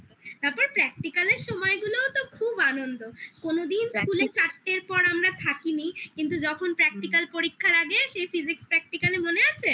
খুব মজা হতো তারপর practical এর সময়গুলোও তো খুব আনন্দ কোনদিন স্কুলে চারটের পর আমরা থাকিনি কিন্তু যখন পরীক্ষার আগে সেই physics practical এ মনে আছে?